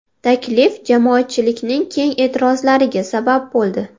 Taklif jamoatchilikning keng e’tirozlariga sabab bo‘ldi.